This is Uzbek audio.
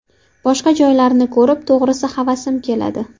Boshqa joylarni ko‘rib to‘g‘risi havasimiz keladi.